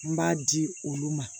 N b'a di olu ma